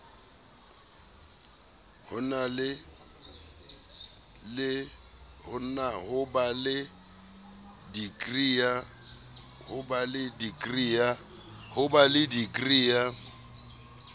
ho ba le dikri ya